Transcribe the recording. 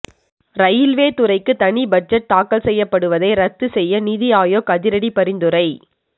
railway துறைக்கு தனி budget தாக்கல் செய்யப்படுவதை ரத்து செய்ய நிதி ஆயோக் அதிரடி பரிந்துரை